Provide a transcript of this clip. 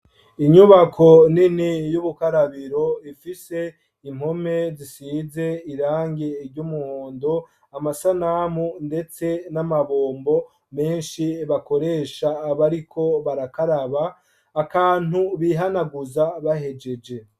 Inyubako y'ubukarabiro ifise impome zisize irangi ry'umuhondo, amasanamu ndetse n'amabombo menshi bakoresha bariko barakaraba, akantu bihanaguza bahejeje.